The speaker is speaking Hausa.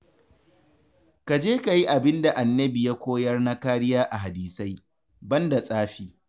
Ka je ka yi abin da Annabi ya koyar na kariya a hadisai, banda tsafi